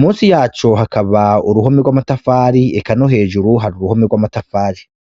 musi yaco hakaba uruhome rw'amatafari eka no hejuru hari uruhome rw'amatafari.